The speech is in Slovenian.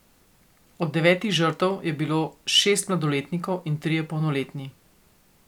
Od devetih žrtev je bilo šest mladoletnikov in trije polnoletni.